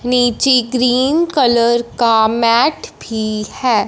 नीची cream colour का mat भी है।